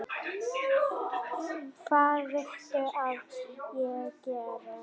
Hvað viltu að ég geri?